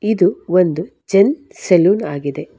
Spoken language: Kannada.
ಇದು ಒಂದು ಜೆಂಟ್ ಸಲೂನ್ ಆಗಿದೆ.